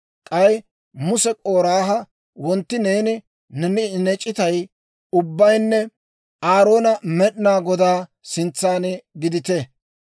K'ay Muse K'oraaha, «Wontti neeni, ne c'itay ubbaynne Aarooni Med'inaa Godaa sintsan gidite.